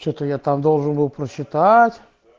что-то я там должен был прочитать